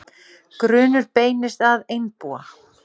Grunur beinist að einbúa